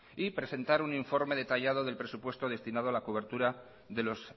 y presentar un informe detallado de presupuesto destinado a la cobertura de los